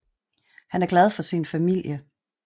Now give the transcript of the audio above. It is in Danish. Han er glad for sin familie